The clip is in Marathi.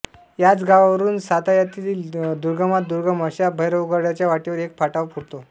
याच गावावरून सातायातील दुर्गमात दुर्गम अशा भैरवगडाच्या वाटेवर एक फाटा फुटतो